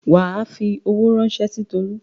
Wà á fi owó ránṣẹ́ sí Tolú.